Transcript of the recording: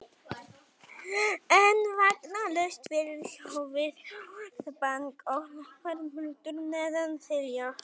En vakna laust fyrir sjö við hávært bank og lágvært muldur neðan þilja.